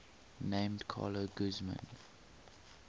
named carla guzman